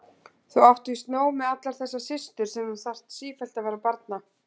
Þú átt víst nóg með allar þessar systur sem þú þarf sífellt vera að barna.